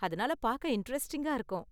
அதனால பார்க்க இண்டரெஸ்ட்டிங்கா இருக்கும்.